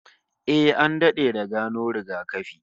Eh, an dade da gano rigakafi